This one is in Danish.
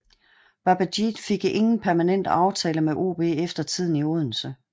Babajide fik ingen permanent aftale med OB efter tiden i Odense